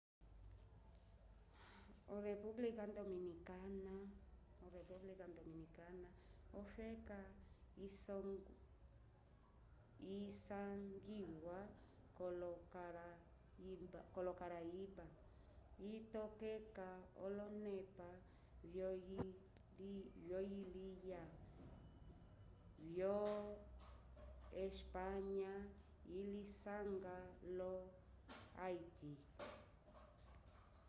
olepumblika dominikana olepumblika dominicana ofeka isangiwa k'olokarayiba itokeka olonepa vyoyiliya vyo espanya ilisanga lo haiti